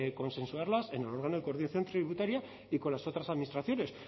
consensuarlas en orden a la coordinación tributaria y con las otras administraciones